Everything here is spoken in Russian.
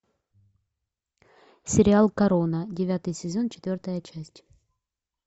сериал корона девятый сезон четвертая часть